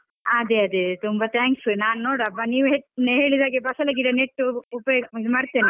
ಹಾ ಅದೆ ಅದೆ ತುಂಬ thanks , ನಾನ್ ನೋಡ್ವ ನೀವ್ ಹೇಳಿದಾಗೆ ಬಸಳೆ ಗಿಡ ನೆಟ್ಟು ಉಪಯೋಗಿಸಿ ಇದು ಮಾಡತೇನೆ.